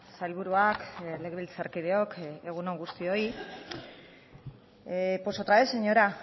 sailburuak legebiltzarkideok egun on guztioi pues otra vez señora